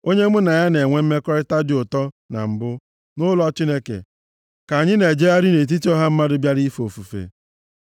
onye mụ na ya na-enwe mmekọrịta dị ụtọ na mbụ, nʼụlọ Chineke, ka anyị na-ejegharị nʼetiti ọha mmadụ bịara ife ofufe.